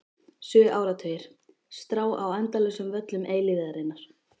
Sjö áratugir: strá á endalausum völlum eilífðarinnar.